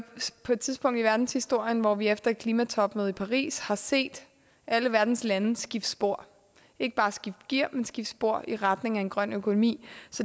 på et tidspunkt i verdenshistorien hvor vi efter klimatopmødet i paris har set alle verdens lande skifte spor ikke bare skifte gear men skifte spor i retning af en grøn økonomi